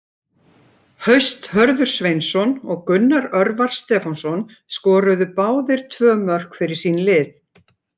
Haust Hörður Sveinsson og Gunnar Örvar Stefánsson skoruðu báðir tvö mörk fyrir sín lið.